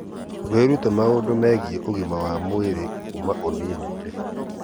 Wĩrute maũndũ megiĩ ũgima mwega wa mwĩrĩ kuuma ũnini-inĩ.